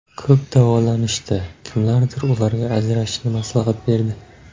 Ko‘p davolanishdi, kimlardir ularga ajrashishni maslahat berdi.